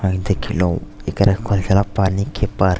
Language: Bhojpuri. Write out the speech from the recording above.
और देखलौ इकरा कहल जाला पानी के पार्क --